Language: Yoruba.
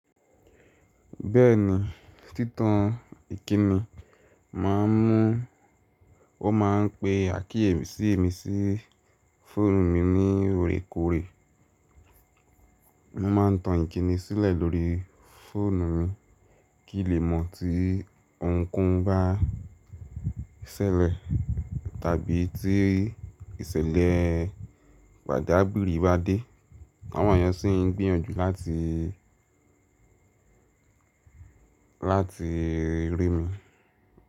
Bẹ́ẹ̀ni, títan ìkíni, wọ́n máa ń pe àkíyèsí mi sí fóònù mi ní órekòrè. Mo máa ń tan ìkíni sílẹ̀ lórí fóònù mi kí lé mọ̀ tí ohunkóhun bá ṣẹlẹ̀ tàbí tí ìṣẹ̀lẹ̀ pàjágìrì bá dé. Àwọn èèyàn sì ń gbìyànjú lati láti rí mi.